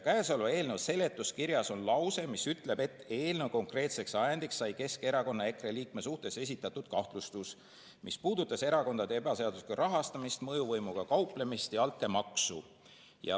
Käesoleva eelnõu seletuskirjas on lause, mis ütleb, et eelnõu konkreetseks ajendiks sai Keskerakonna ja EKRE liikme suhtes esitatud kahtlustus, mis puudutas erakondade ebaseaduslikku rahastamist, mõjuvõimuga kauplemist ja altkäemaksu.